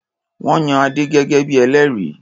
Wọ́n yan Adé gẹ́gẹ́ bí i ẹlẹ́rìí.